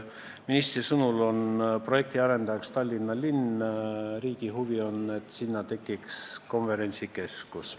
Ministri sõnul on projekti arendajaks Tallinna linn, riigi huvi on, et sinna tekiks konverentsikeskus.